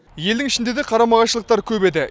елдің ішінде де қарама қайшылықтар көп еді